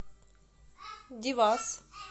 девас